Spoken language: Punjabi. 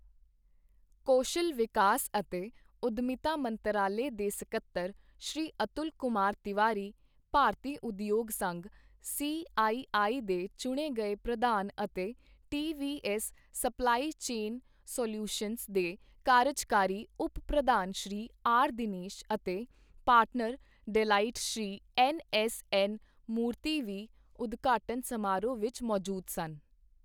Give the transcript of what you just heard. ਕੌਸ਼ਲ ਵਿਕਾਸ ਅਤੇ ਉਦੱਮਿਤਾ ਮੰਤਰਾਲੇ ਦੇ ਸਕੱਤਰ ਸ਼੍ਰੀ ਅਤੁਲ ਕੁਮਾਰ ਤਿਵਾਰੀ, ਭਾਰਤੀ ਉਦਯੋਗ ਸੰਘ ਸੀ ਆਈ ਆਈ ਦੇ ਚੁਣੇ ਗਏ ਪ੍ਰਧਾਨ ਅਤੇ T V S supply chain solutions ਦੇ ਕਾਰਜਕਾਰੀ ਉਪ ਪ੍ਰਧਾਨ ਸ਼੍ਰੀ ਆਰ ਦਿਨੇਸ਼ ਅਤੇ partner Deloitte Shri N S N Murthy ਵੀ ਉਦਘਾਟਨ ਸਮਾਰੋਹ ਵਿੱਚ ਮੌਜੂਦ ਸਨ।